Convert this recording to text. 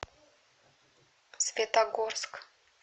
светогорск